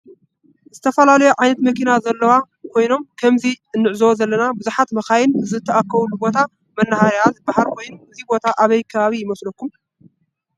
ዝተፈላለዩ ዓይነት መኪና ዘለው ኮይኖም ከምዚ አንዕዞቦ ዘለና ብዛሓት መካይን ዝተአከባሉ ቦታ መናሃርያ ዝበሃል ኮይኑ እዚ ቦታ አበይ ከባቢ ይመሰለኩም?